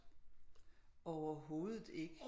Overhovedet ikke